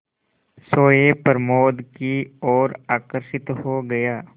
सोए प्रमोद की ओर आकर्षित हो गया